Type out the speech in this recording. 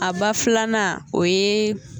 A ba filanan o ye